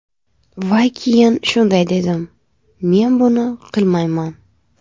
Va keyin shunday dedim: ‘Men buni qilmayman’.